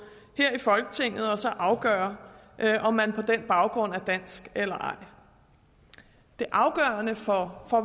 her i folketinget og så afgøre om man på den baggrund er dansk eller ej det afgørende for